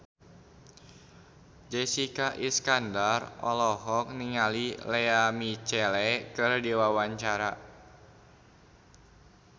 Jessica Iskandar olohok ningali Lea Michele keur diwawancara